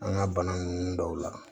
An ka bana ninnu dɔw la